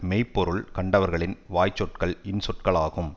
மெய் பொருள் கண்டவர்களின் வாய்ச்சொற்கள் இன்சொற்களாகும்